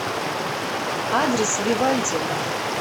адрес вивальди